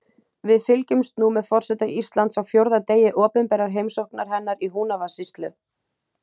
Við fylgjumst nú með forseta Íslands á fjórða degi opinberrar heimsóknar hennar í Húnavatnssýslu.